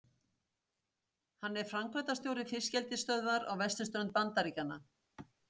Hann er framkvæmdastjóri fiskeldisstöðvar á vesturströnd Bandaríkjanna.